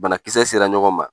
Banakisɛ sera ɲɔgɔn ma